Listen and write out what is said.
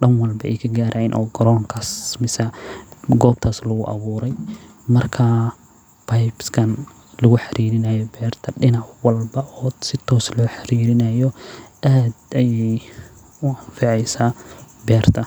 dan walbo waay ka garayaan, beebka dan walbo lagu xiraayo aad ayeey u anfaceysa beerta.